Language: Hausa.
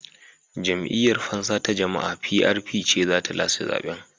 Jam'iyyar Fansa ta Jama'a (PRP) ce za ta lashe zaben.